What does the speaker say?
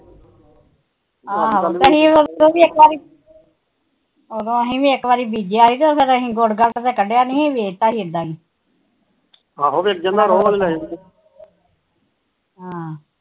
ਆਹੋ ਅਸੀ ਵੀ ਇੱਕ ਵਾਰ ਬੀਜਿਆਂ ਗੁੜ ਗਾੜਾ ਤਾ ਕੱਢਿਆ ਨੀ ਵੇਚਤਾ ਸੀ ਇਦਾ ਹੀ ਆਹੋ ਫਿਰ ਹਮ